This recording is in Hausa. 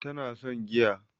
Tana son giya